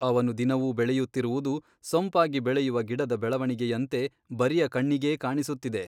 ಅವನು ದಿನವೂ ಬೆಳೆಯುತ್ತಿರುವುದು ಸೊಂಪಾಗಿ ಬೆಳೆಯುವ ಗಿಡದ ಬೆಳವಣಿಗೆಯಂತೆ ಬರಿಯ ಕಣ್ಣಿಗೇ ಕಾಣಿಸುತ್ತಿದೆ.